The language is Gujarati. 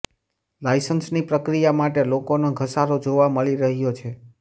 લાયસન્સની પ્રક્રિયા માટે લોકોનો ધસારો જોવા મળી રહ્યો છે